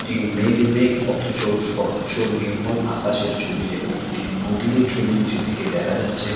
এটি মেঘ মেঘ। অথচ স্বচ্ছ-নির্মল আকাশের ছবি। যেখানে একটি নদীরও ছবি নীচের দিকে দেখা যাচ্ছে।